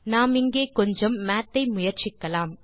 நாம் இங்கே கொஞ்சம் மாத் ஐ முயற்சிக்கலாம்